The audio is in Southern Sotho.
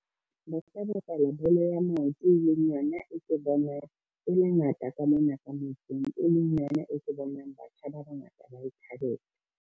Ba ka bapala bolo ya maoto, e leng yona e ke bonang e le yona e ngata ka mona ka motseng, e leng yona e ke bonang batjha ba bangata ba e thabela.